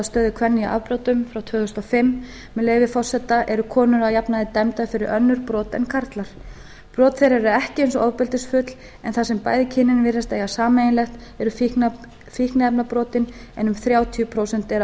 stöðu kvenna í afbrotum frá tvö þúsund og fimm með leyfi forseta eru konur að jafnaði dæmdar fyrir önnur brot en karlar brot þeirra eru ekki eins ofbeldisfull en það sem bæði kynin virðast eiga sameiginlegt eru fíkniefnabrotin en um þrjátíu prósent eru að